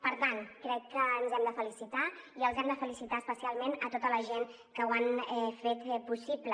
per tant crec que ens hem de felicitar i els hem de felicitar especialment a tota la gent que ho han fet possible